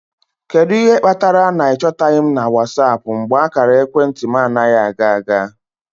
Kedu ihe kpatara na ị chọtaghị m na WhatsApp mgbe ákàrà ekwentị m anaghị aga aga?